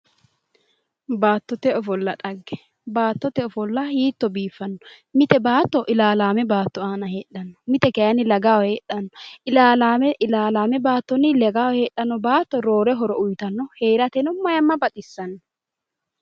Baattote ofolla dhagge, baattote ofolla hiitto biifano ,mite baatto ilalame baatto aana heedhano, mite kayinni lagaho heedhano ilalame baattoni lagaho heedhano baatto roore horo uyittano, heerateno maayima baxisano